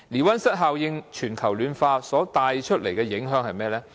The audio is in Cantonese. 溫室效應令全球暖化所帶來的影響是甚麼？